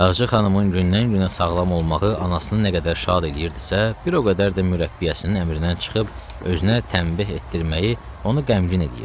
Ağca xanımın gündən-günə sağlam olmağı anasını nə qədər şad eləyirdisə, bir o qədər də mürəbbiyəsinin əmrindən çıxıb özünə tənbəh etdirməyi onu qəmgin eləyirdi.